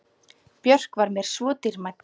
Björk var mér svo dýrmæt.